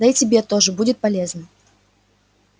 да и тебе тоже будет полезно